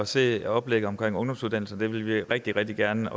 se oplægget til ungdomsuddannelserne det vil vi også rigtig rigtig gerne